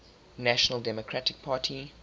national democratic party